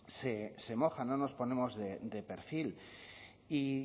se moja no nos ponemos de perfil y